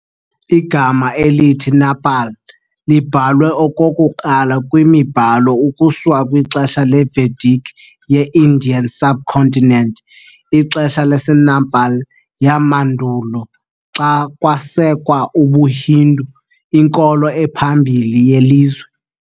Igama elithi "Nepal" libhalwe okokuqala kwimibhalo ukusuka kwixesha leVedic ye- Indian subcontinent, ixesha laseNepal yamandulo xa kwasekwa ubuHindu, inkolo ephambili yelizwe.